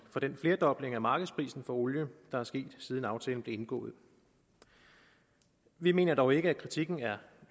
den flerdobling af markedsprisen for olie der er sket siden aftalen blev indgået vi mener dog ikke at kritikken er